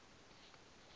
vha tshi ṱo ḓa u